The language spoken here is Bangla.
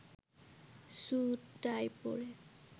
সুট-টাই পরে